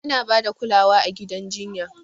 Ana ba da kulawa a gidan jinya.